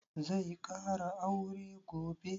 Zai ƙara aure gobe?